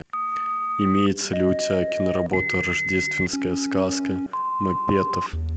имеется ли у тебя киноработа рождественская сказка маппетов